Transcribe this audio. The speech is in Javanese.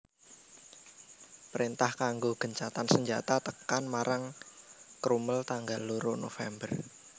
Préntah kanggo gencatan senjata tekan marang Crummel tanggal loro November